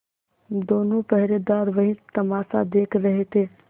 दोनों पहरेदार वही तमाशा देख रहे थे